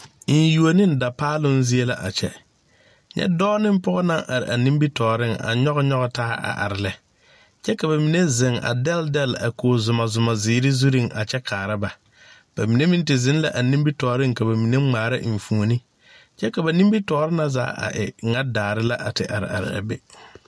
Enyuo neŋ dapaaloŋ zie la a kyɛ nyɛ dɔɔ neŋ pɔɔ naŋ are a nimitooreŋ a nyoge nyoge taa a are lɛ kyɛ ka ba mine zeŋ a dɛlle dɛlle a dakog zumɔzumɔ zeere zurre a kyɛ kaara ba ba mine meŋ te zeŋ la a nimitooreŋ ka ba mine ngmaara enfuone kyɛ ka ba nimitoore na zaa a e ŋa daare la a te are are a be.